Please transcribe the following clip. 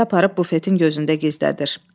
Lenti aparıb bufetin gözündə gizlədir.